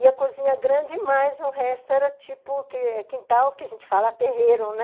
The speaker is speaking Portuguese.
E a cozinha grande, mas o resto era tipo quintal, que a gente fala terreiro, né?